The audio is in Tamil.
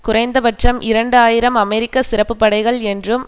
குறைந்த பட்சம் இரண்டு ஆயிரம் அமெரிக்க சிறப்பு படைகள் என்றும்